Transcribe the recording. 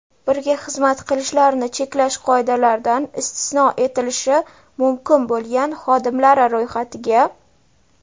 birga xizmat qilishlarini cheklash qoidalaridan istisno etilishi mumkin bo‘lgan xodimlari Ro‘yxatiga:.